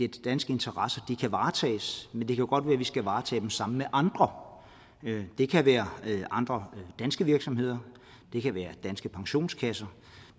danske interesser kan varetages men det kan godt være at vi skal varetage dem sammen med andre det kan være andre danske virksomheder det kan være danske pensionskasser